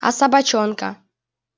а собачонка